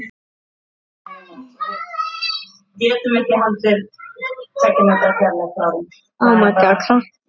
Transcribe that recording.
Bæði húsin hafa verið rifin.